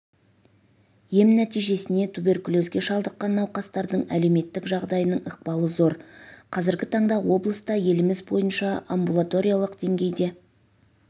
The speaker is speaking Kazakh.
ем нәтижесіне туберкулезге шалдыққан науқастардың әлеуметтік жағдайының ықпалы зор қазіргі таңда облыста еліміз бойынша амбулаториялық деңгейде